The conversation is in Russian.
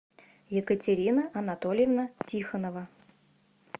екатерина анатольевна тихонова